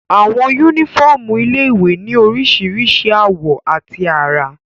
Àwọn yúnífọ́ọ̀mù ilé-ìwé ní oríṣiríṣi àwọ̀ àti àrà